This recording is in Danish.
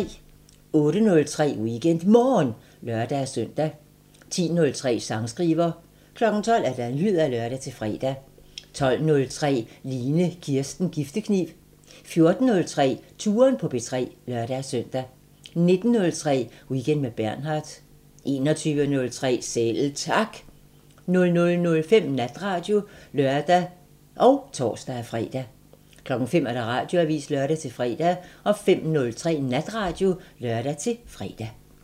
08:03: WeekendMorgen (lør-søn) 10:03: Sangskriver 12:00: Nyheder (lør-fre) 12:03: Line Kirsten Giftekniv 14:03: Touren på P3 (lør-søn) 19:03: Weekend med Bernhard 21:03: Selv Tak 00:05: Natradio (lør og tor-fre) 05:00: Radioavisen (lør-fre) 05:03: Natradio (lør-fre)